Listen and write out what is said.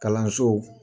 Kalanso